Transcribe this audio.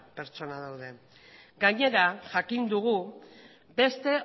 pertsona daude gainera jakin dugu beste